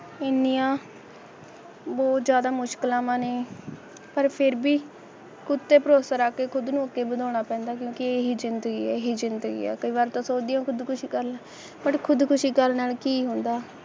ਇੰਟੀਆਂ ਬਹੁਤ ਜ਼ਿਆਦਾ ਮੁਸ਼ਕਲ ਨਹੀਂ ਪਰ ਫਿਰ ਵੀ ਪੁੱਤ ਤੇ ਭਰੋਸਾ ਰੱਖ ਕੇ ਖੁਦ ਨੂੰ ਇੱਕ ਬਣਾਉਣਾ ਪੈਂਦਾ ਕਿਉਂਕਿ ਇਹ ਜਿੰਦਗੀ ਆ ਕਈ ਵਾਰ ਤਾ ਸੋਚਦੀਆ ਖੁਦ ਕੁਸ਼ੀ ਕਰ ਨਾ ਖੁਦ ਕੁਸ਼ੀ ਕਰਨ ਨਾਲ ਕੀ ਹੁੰਦਾ